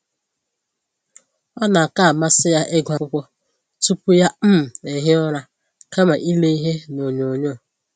Ọ na aka amasị ya ịgụ akwụkwọ tupu ya um ehie ụra kama ile ihe na onyoo nyoo